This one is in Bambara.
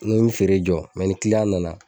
N ko mi feere jɔ ni nana